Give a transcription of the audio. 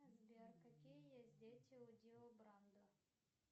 сбер какие есть дети у дио брандо